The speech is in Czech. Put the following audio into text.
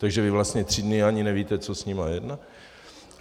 Takže vy vlastně tři dny ani nevíte, co s nimi je.